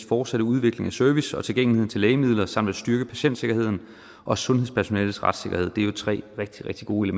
fortsatte udvikling af service og tilgængeligheden til lægemidler samt at styrke patientsikkerheden og sundhedspersonalets retssikkerhed det er jo tre rigtig rigtig gode